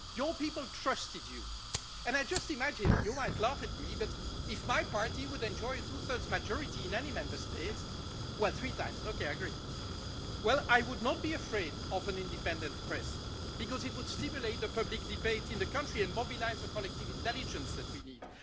Your people trusted you and I just imagine you might laugh at me but if my party enjoyed a two thirds majority in any Member State well, three times, I agree! I would not be afraid of an independent press because it would stimulate the public debate in the country and mobilise the collective intelligence we need.